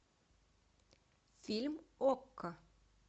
фильм окко